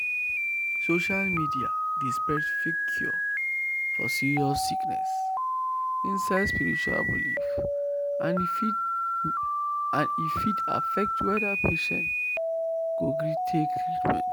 social media dey spread fake cure for serious sickness inside spiritual belief and e fit and e fit affect whether patient go gree take treatment.